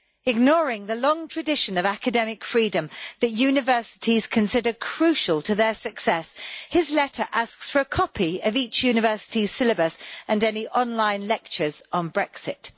Ignoring the long tradition of academic freedom that universities consider crucial to their success, his letter asks for a copy of each university syllabus and any online lectures on Brexit.